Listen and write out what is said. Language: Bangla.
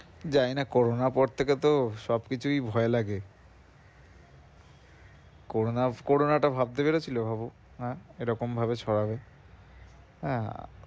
জানি না Corona র পর থেকে তো সব কিছুই ভয় লাগে Corona Corona Corona টা ভাবতে পেরেছিলে ভাবো হ্যাঁ? এরকম ভাবে ছড়াবে হ্যাঁ